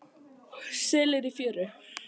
Selir í fjöru.